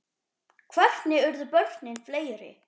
Hvernig urðu börnin fleiri?